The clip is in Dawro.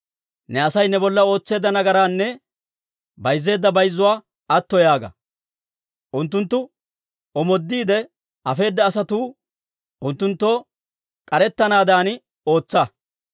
Ne Asay ne bolla ootseedda nagaraanne bayzzeedda bayzzuwaa atto yaaga; unttunttu omoodiide afeedda asatuu unttunttoo k'arettanaadan ootsa.